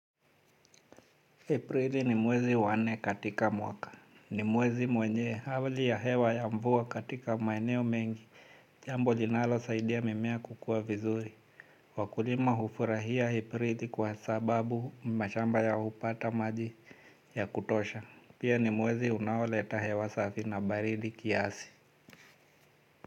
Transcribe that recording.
Aprili ni mwezi wanne katika mwaka. Ni mwezi mwenye hali ya hewa ya mvua katika maeneo mengi. Jambo linalo saidia mimea kukua vizuri. Wakulima hufurahia Aprili kwa sababu mashamba yao hupata maji yakutosha. Pia ni mwezi unaoleta hewa safi na baridi kiasi.